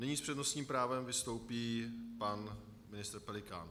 Nyní s přednostním právem vystoupí pan ministr Pelikán.